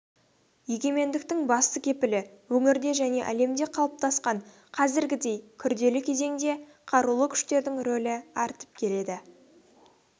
егемендіктің басты кепілі өңірде және әлемде қалыптасқан қазіргідей күрделі кезеңде қарулы күштердің рөлі артып келеді